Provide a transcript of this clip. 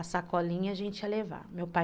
para a gente levar. Meu pai